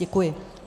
Děkuji.